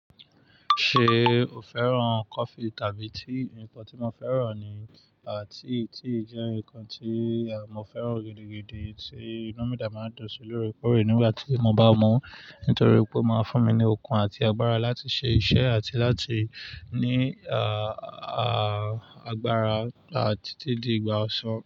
Ṣe o fẹ́ràn coffee tàbí tea? Nnkan tí mo fẹ́ràn ni tea, tea jẹ́ nǹkan tí mo fẹ́ràn gidigidi tí inú mi de máa ń dùn sí lóre kórè nígbà tí mo bá mu, nítorí pé ó máa ń fún mi ní okun àti agbára láti ṣe iṣẹ́ àti láti ní, à, à, agbára àti títí di ìgbà ọ̀sán.